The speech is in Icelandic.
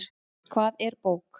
Hvað er bók?